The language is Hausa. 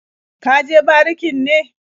Ka je barikin ne?